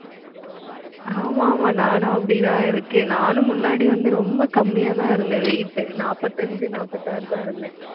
ஆமா, ஆமா நானும் அப்படித்தான் இருக்கேன். நானும் முன்னாடி வந்து ரொம்ப கம்மியாதான் இருந்தேன் weight நாப்பத்தஞ்சு, நாப்பத்தாறுதான் இருந்தேன்